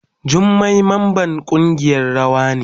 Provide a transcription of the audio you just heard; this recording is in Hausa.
Jummai mamban kungiyan rawa ne.